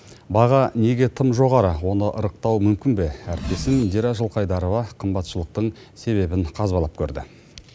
баға неге тым жоғары оны ырықтау мүмкін бе әріптесім индира жылқайдарова қымбатшылықтың себебін қазбалап көрді